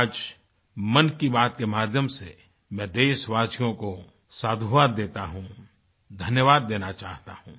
आजमन की बात के माध्यम से मैं देशवासियों को साधुवाद देता हूँ धन्यवाद देना चाहता हूँ